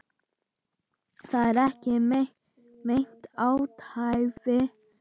Það er ekki meint athæfi.